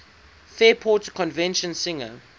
fairport convention singer